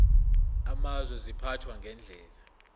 amazwe ziphathwa ngendlela